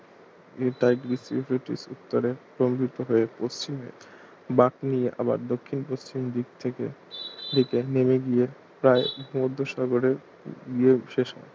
নিয়ে Tigris Euphrates উত্তরে স্তম্ভিত হয়ে পশ্চিমে বাঁক নিয়ে আবার দক্ষিণ পশ্চিম দিক থেকে দিকে নেমে গিয়ে প্রায় ভুমধ্যসাগরে গিয়ে শেষ